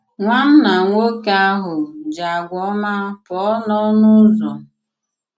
Nwànnà nwoke ahụ̀ jì àgwà òmá pụọ n'ọnụ ụzọ.